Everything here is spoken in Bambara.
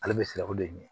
Ale bɛ siran o de ye